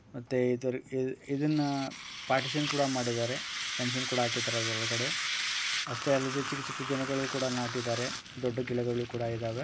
ಮತ್ತೆ ಇದ ಇದ ಇದನ್ನಪಾರ್ಟಿಶನ್ ಕೂಡ ಮಾಡಿದ್ದಾರೆ. ಪೆನ್ಷನ್ ಕೂಡ ಹಾಕಿದರೆ. ಅಷ್ಟೇ ಅಲ್ಲದೆ ಚಿಕ್ಕ ಚಿಕ್ಕ ಗಿಡಗಳನ್ನು ನಾಟ್ಟಿದ್ದಾರೆ ದೊಡ್ಡ ಗಿಡಗಳು ಕೂಡಾ ಇದಾವೆ.